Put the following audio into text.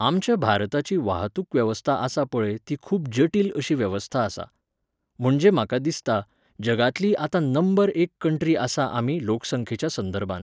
आमच्या भारताची वाहतूक वेवस्था आसा पळय ती खूब जटील अशी वेवस्था आसा. म्हणजे म्हाका दिसता, जगांतली आतां नंबर एक कंट्री आसा आमी लोक संख्येच्या संदर्भांत